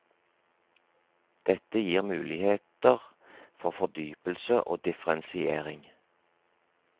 Dette gir muligheter for fordypelse og differensiering.